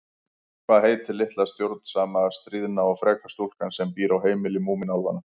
Hvað heitir litla stjórnsama, stríðna og freka stúlkan sem býr á heimili Múmínálfanna?